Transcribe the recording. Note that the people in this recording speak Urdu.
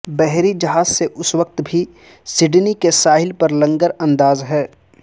بحری جہاز اس وقت بھی سڈنی کے ساحل پر لنگر انداز ہے